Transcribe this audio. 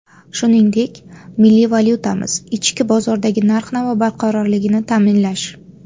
Shuningdek, milliy valyutamiz, ichki bozordagi narx-navo barqarorligini ta’minlash.